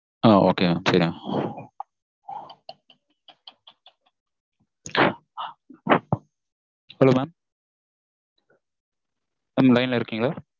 ஆஹ் okay mam சரி mam hello mam line ல இருக்கீங்களா